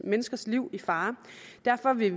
menneskers liv i fare derfor vil